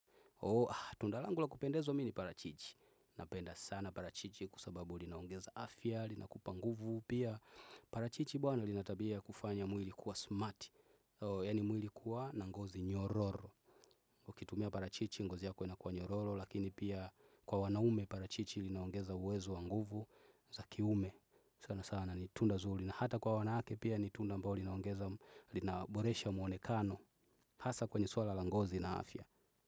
Tunda langu la kupendezwa mi ni parachichi. Napenda sana parachichi kwa sababu linaongeza afya. Linakupa nguvu pia. Parachichi bwana lina tabia ya kufanya mwili kuwa smart. Yani mwili kuwa na ngozi nyororo. Ukitumia parachichi ngozi yako inakuwa nyororo. Lakini pia kwa wanaume parachichi linaongeza uwezo wa nguvu za ki ume sana sana ni tunda zuri. Na hata kwa wanawake pia ni tunda ambalo linaongeza linaboresha mwonekano. Hasa kwenye suala la ngozi na afya.